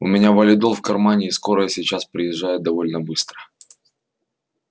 у меня валидол в кармане и скорая сейчас приезжает довольно быстро